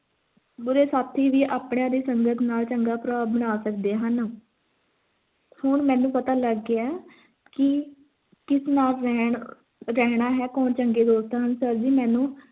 ਬੁਰੇ ਸਾਥੀ ਵੀ ਆਪਣੇ ਦੀ ਸੰਗਤ ਦੇ ਨਾਲ ਚੰਗਾ ਪ੍ਰਭਾਵ ਬਣਾ ਸਕਦੇ ਹਨ ਹੁਣ ਮੈਨੂੰ ਪਤਾ ਲੱਗ ਗਿਆ ਕੀ ਨਾਲ ਰਹਿਣ ਅਹ ਰਹਿਣਾ ਹੈ ਕੌਣ ਚੰਗੇ ਦੋਸਤ ਹਨ sir ਜੀ ਮੈਨੂੰ